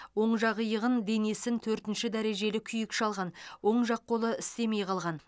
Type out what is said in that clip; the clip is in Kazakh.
оң жақ иығын денесін төртінші дәрежелі күйік шалған оң жақ қолы істемей қалған